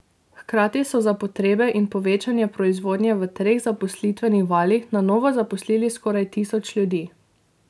Hkrati so za potrebe in povečanje proizvodnje v treh zaposlitvenih valih na novo zaposlili skoraj tisoč ljudi.